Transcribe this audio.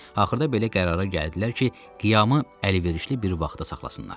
Axırda belə qərara gəldilər ki, qiyamı əlverişli bir vaxtda saxlasınlar.